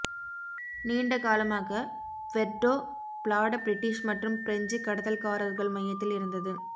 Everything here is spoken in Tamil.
நீண்ட காலமாக ப்வெர்டோ ப்லாட பிரிட்டிஷ் மற்றும் பிரஞ்சு கடத்தல்காரர்கள் மையத்தில் இருந்தது